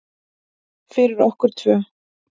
Fyrir okkur tvö.